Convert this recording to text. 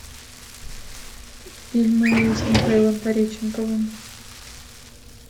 фильмы с михаилом пореченковым